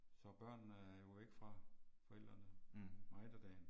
For børnene er jo væk fra forældrene meget af dagen